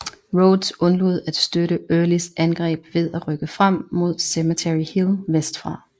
Rodes undlod at støtte Earlys angreb ved at rykke frem mod Cemetery Hill vestfra